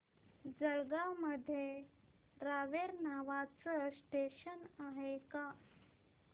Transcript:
जळगाव मध्ये रावेर नावाचं स्टेशन आहे का